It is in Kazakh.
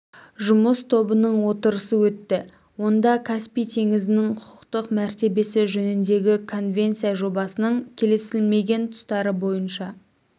жұмыс тобының отырысы өтті онда каспий теңізінің құқықтық мәртебесі жөніндегі конвенция жобасының келісілмеген тұстары бойынша